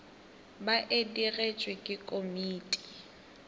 ba e digetšwe ke komiti